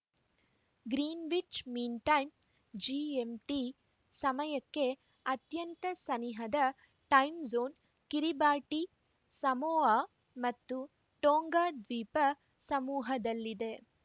Greenwich mean time GMT ಸಮಯಕ್ಕೆ ಅತ್ಯಂತ ಸನಿಹದ ಟೈಮ್‌ಜೋನ್‌ ಕಿರಿಬಾಟಿ ಸಮೋಆ ಮತ್ತು ಟೋಂಗಾ ದ್ವೀಪ ಸಮೂಹದಲ್ಲಿದೆ